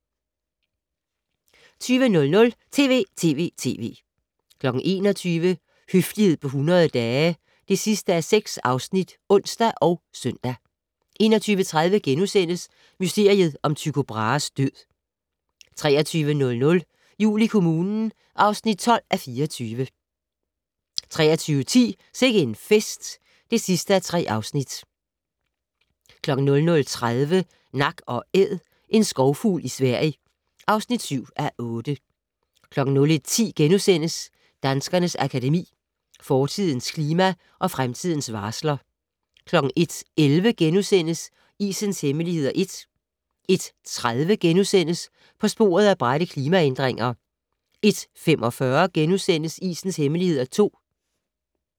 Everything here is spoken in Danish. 20:00: TV!TV!TV! 21:00: Høflighed på 100 dage (6:6)(ons og søn) 21:30: Mysteriet om Tycho Brahes død * 23:00: Jul i kommunen (12:24) 23:10: Sikke en fest (3:3) 00:30: Nak & Æd - en skovfugl i Sverige (7:8) 01:10: Danskernes Akademi: Fortidens klima og fremtidens varsler * 01:11: Isens hemmeligheder (1) * 01:30: På sporet af bratte klimaændringer * 01:45: Isens hemmeligheder (2) *